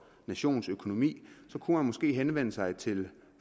nationens økonomi måske henvende sig til